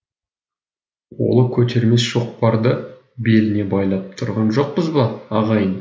қолы көтермес шоқпарды беліне байлап тұрған жоқпыз ба ағайын